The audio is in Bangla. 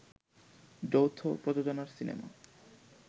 যৌথ প্রযোজনার সিনেমা